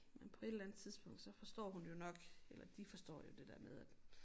Men på et eller andet tidspunkt så forstår hun det jo nok eller de forstår jo det der med at